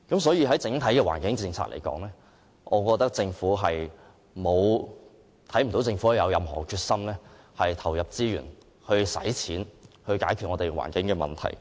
所以，就整體環境政策而言，我看不到政府有任何決心投入資源，願意花錢解決香港的環境問題。